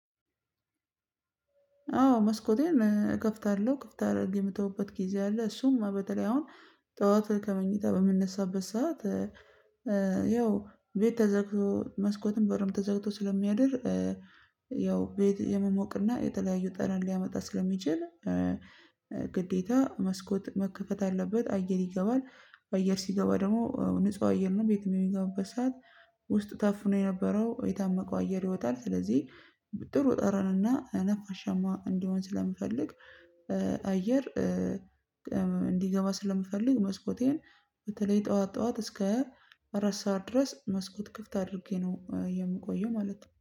አዎ መስኮቴን እከፍታለሁ ክፍት አድርጌ የምተውበት ጊዜ አለ እሱም በተለይ አሁን ጠዋት ከመኝታ በምንነሳበት ሰዓት። ያው ቤት ተዘግቶ መስኮትን በሩም ተዘግቶ ስለሚያድር ያው ቤት የመሞቅና የተለያዩ ጠረን ሊያመጣ ስለሚችል። መስኮት መከፈት አለበት አየር ይገባል አየር ሲገባ ደግሞ ንጹህ አየር ነው ቤትም የሚገባበት ሰዓት። ውስጥ ታፍኖ የነበረው የታመቀው አየር ይወጣል ስለዚህ ጥሩ ጠረንና ነፋሻማ እንዲሆን ስለምፈልግ አየር። እንዲገባ ስለምፈልግ መስኮቴን በተለይ ጠዋት ጠዋት እስከ አራት ሰዓት ድረስ መስኮት ክፍት አድርጌ ነው የምቆየው ማለት ነው